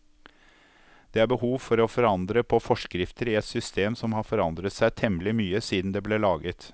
Det er behov for å forandre på forskrifter i et system som har forandret seg temmelig mye siden det ble laget.